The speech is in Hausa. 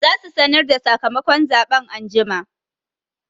Za su sanar da sakamakon zaɓen anjima